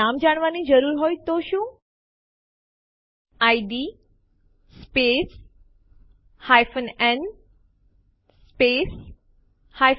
આપણે શું કરવાની જરૂર છે એમવી abcટીએક્સટી popટીએક્સટી pushટીએક્સટી અને પછી ડેસ્ટીનેશન ફોલ્ડર નું નામ જે ટેસ્ટડિર છે અને Enter દબાવો